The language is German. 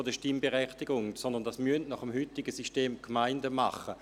Dies müssen nach dem heutigen System die Gemeinden tun.